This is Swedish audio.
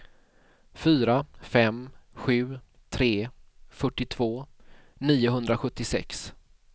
fyra fem sju tre fyrtiotvå niohundrasjuttiosex